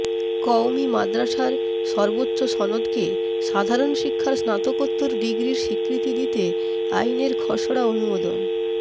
কওমি মাদ্রাসার সর্বোচ্চ সনদকে সাধারণ শিক্ষার স্নাতকোত্তর ডিগ্রির স্বীকৃতি দিতে আইনের খসড়া অনুমোদন